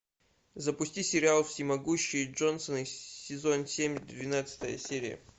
запусти сериал всемогущие джонсоны сезон семь двенадцатая серия